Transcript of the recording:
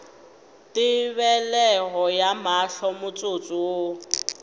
tebelego ya mahlo motsotso wo